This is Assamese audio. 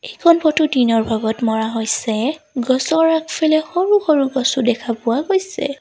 এইখন ফটো দিনৰ ভাগত মৰা হৈছে গছৰ আগফালে সৰু সৰু গছো দেখা পোৱা গৈছে।